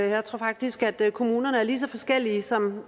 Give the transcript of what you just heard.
jeg tror faktisk at kommunerne er lige så forskellige som